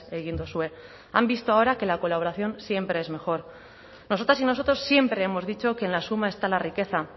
egin duzue han visto ahora que la colaboración siempre es mejor nosotras y nosotros siempre hemos dicho que en la suma está la riqueza